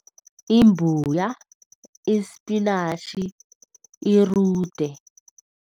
Imbuya, ispinatjhi, irude.